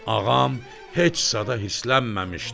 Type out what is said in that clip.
Ağam heç zada hırsilənməmişdi.